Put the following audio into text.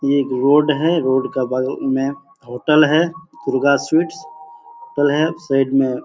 ये एक रोड है। रोड के बगल में होटल है। दुर्गा स्वीट्स साइड में --